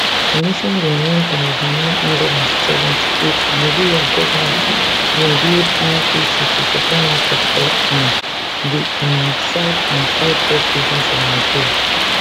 commissioned in one thousand, nine hundred and seventy-eight nigeria goment bin build wrpc to supply markets for um di um south and southwest regions of nigeria